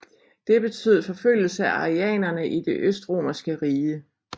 Det betød forfølgelse af arianerne i Det østromerske rige